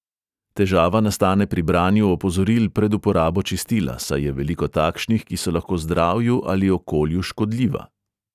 Težava nastane pri branju opozoril pred uporabo čistila, saj je veliko takšnih, ki so lahko zdravju ali okolju škodljiva.